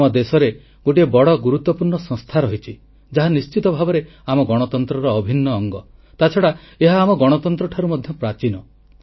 ଆମ ଦେଶରେ ଗୋଟିଏ ବଡ଼ ଗୁରୁତ୍ୱପୂର୍ଣ୍ଣ ସଂସ୍ଥା ରହିଛି ଯାହା ନିଶ୍ଚିତ ଭାବେ ଆମ ଗଣତନ୍ତ୍ରର ଅଭିନ୍ନ ଅଙ୍ଗ ତାଛଡ଼ା ଏହା ଆମ ଗଣତନ୍ତ୍ର ଠାରୁ ମଧ୍ୟ ପ୍ରାଚୀନ